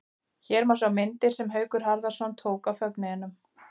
Hér má sjá myndir sem Haukur Harðarson tók af fögnuðinum.